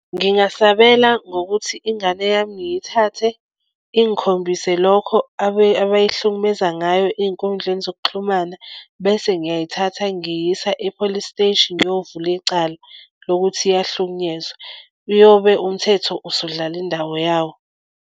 Ngingasabela ngokuthi ingane yami ngiyithathe ingikhombise lokho abayihlukumeza ngayo ey'nkundleni zokuxhumana bese ngiyayithatha ngiyisa e-police steshi ngiyovula icala lokuthi iyangihlukunyezwa, uyobe umthetho usudlala indawo yawo.